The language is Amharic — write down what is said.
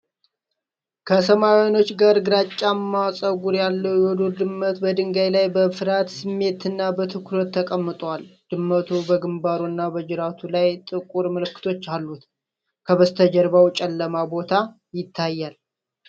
ከሰማያዊ ዓይኖች ጋር ግራጫማ ጸጉር ያለው የዱር ድመት በድንጋይ ላይ በፍርሃት ስሜት እና በትኩረት ተቀምጧል። ድመቱ በግንባሩ እና በጅራቱ ላይ ጥቁር ምልክቶች አሉት። ከበስተጀርባ ጨለማ ቦታ ይታያል።